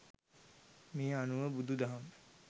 මේ අනුව බුදු දහම